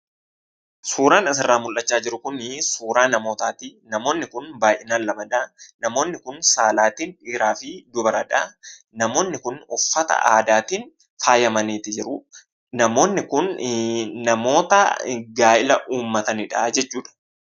Suuraan asirraa mul'achaa jiru kunii suuraa namootaati. Namoonni kun baay'inaan lamadha. Namoonni kun saalaatiin dhiiraa fi dubaradha. Namoonni kun uffata aadaatiin faayyamanii jiru. Namoonni kun namoota gaa'ila uummatanidha jechuudha.